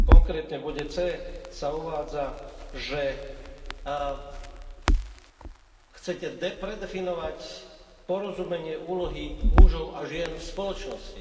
Konkrétne v bode C sa uvádza, že chcete predefinovať porozumenie úlohy mužov a žien v spoločnosti.